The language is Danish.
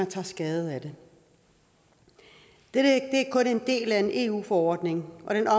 tager skade det er kun en del af en eu forordning og den